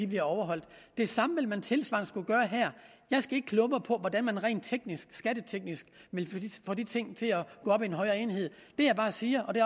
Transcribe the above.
bliver overholdt det samme vil man tilsvarende skulle gøre her jeg skal ikke kloge mig på hvordan man rent skatteteknisk vil få de ting til at gå op i en højere enhed det jeg bare siger og det